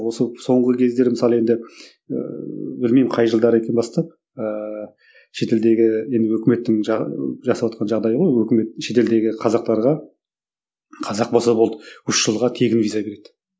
осы соңғы кездері мысалы енді ііі білмеймін қай жылдары екен бастап ііі шетелдегі енді өкіметтің жасаватқан жағдайы ғой өкіметтің шет елдегі қазақтарға қазақ болса болды үш жылға тегін виза береді